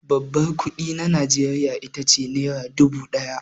Babban kuɗi na Najeriya ita ce nera dubu ɗaya.